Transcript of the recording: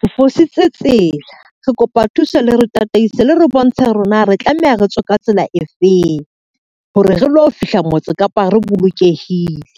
Re fositse tsela re kopa thuso le re tataise le re bontshe hore na re tlameha re tswe ka tsela e feng, hore re lo fihla motse Kapa re bolokehile.